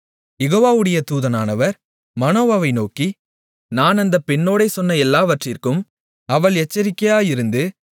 யெகோவாவுடைய தூதனானவர் மனோவாவை நோக்கி நான் அந்தப் பெண்ணோடே சொன்ன எல்லாவற்றிற்கும் அவள் எச்சரிக்கையாயிருந்து